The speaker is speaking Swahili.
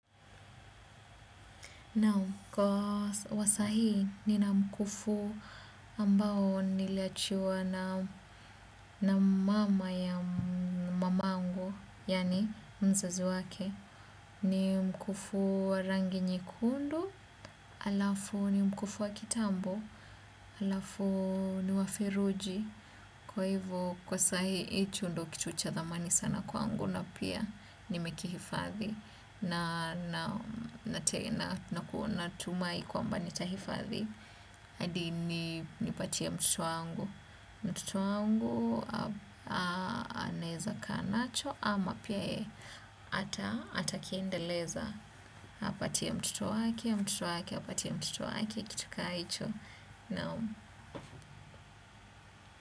Naam kwa wa sahii nina mkufu ambao niliachiwa na na mama ya mamangu, yani mzazi wake, ni mkufu wa rangi nyekundu, alafu ni mkufu wa kitambo, alafu ni wa feruji. Kwa hivo kwa sahii hicho ndo kitu cha dhamani sana kwangu na pia nimekihifadhi. Na kuwa natumai kwamba nitahifadhi hadi nipatie mtoto wangu. Moto wangu anaeza kaa nacho ama pia atakiendeleza. Apatie mtoto wake mtoto wake, apatie mtoto wake, kitu kama hicho. Naam.